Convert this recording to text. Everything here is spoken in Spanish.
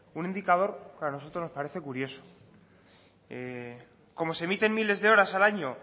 un indicador que a nosotros nos parece curioso como se emiten miles de horas al año